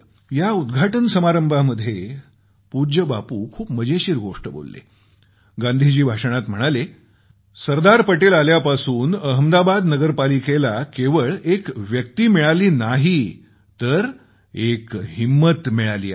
या उद्घाटन समारंभामध्ये पूज्य बापू आपल्या भाषणात म्हणाले सरदार पटेल आल्यापासून अहमदाबाद नगर पालिकेला केवळ एक व्यक्ती मिळाली नाही तर एक हिंम्मत मिळाली आहे